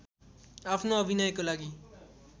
आफ्नो अभिनयको लागि